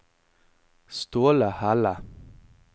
Ståle Helle